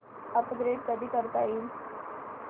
upgrade कधी करता येईल